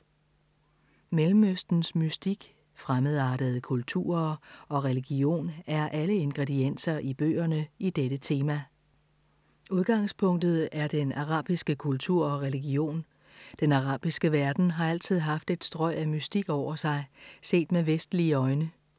Mellemøstens mystik, fremmedartede kulturer og religion er alle ingredienser i bøgerne i dette tema. Udgangspunktet er den arabiske kultur og religion. Den arabiske verden har altid haft et strøg af mystik over sig, set med vestlige øjne.